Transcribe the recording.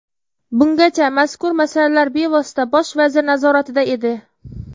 Bungacha mazkur masalalar bevosita bosh vazir nazoratida edi.